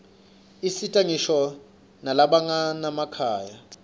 usita ngisho nalabanganamakhaya